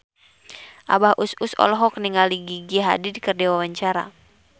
Abah Us Us olohok ningali Gigi Hadid keur diwawancara